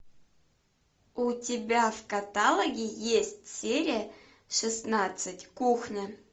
у тебя в каталоге есть серия шестнадцать кухня